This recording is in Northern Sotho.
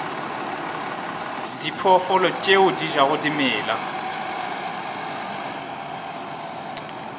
diphoofolo tše di jago dimela